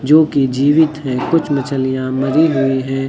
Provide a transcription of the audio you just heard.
जो कि जीवित हैं कुछ मछलियां मरी हुई है।